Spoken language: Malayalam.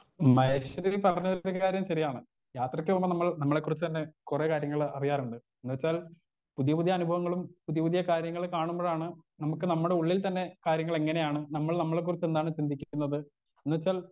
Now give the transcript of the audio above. സ്പീക്കർ 1 മഹേശ്വരി പറഞ്ഞതില് ഒരു കാര്യം ശെരിയാണ് യാത്രക്ക് പോകുമ്പോൾ നമ്മൾ നമ്മളെ കുറിച്ച് തന്നെ കൊറേ കാര്യങ്ങള് അറിയാറുണ്ട് എന്നുവെച്ചാൽ പുതിയ പുതിയ അനുഭവങ്ങളും പുതിയ പുതിയ കാര്യങ്ങൾ കാണുമ്പോഴാണ് നമുക്ക് നമ്മുടെ ഉള്ളിൽ തന്നെ കാര്യങ്ങളെങ്ങനെയാണ് നമ്മൾ നമ്മളെ കുറിച്ചെന്താണ് ചിന്തിക്കുന്നത് എന്നുവെച്ചാൽ.